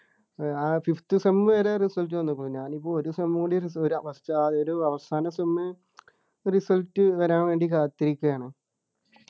ആ fifth sem വരെ result വന്നു പ്പോ ഞാനിപ്പോ ഒരു sem കൂടി ഒരു ഒരു അവസാന sem result വരാൻ വേണ്ടി കാത്തിരിക്കയാണ്